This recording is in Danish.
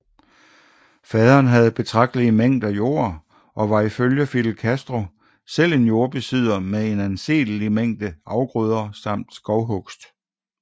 Faderen havde betragtelige mængder jord og var ifølge Fidel Castro selv en jordbesidder med en anselig mængde afgrøder samt skovhugst